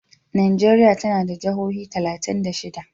Najeriya tana da jihohi talatin da shida.